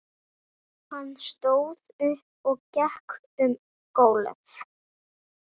Hann stóð upp og gekk um gólf.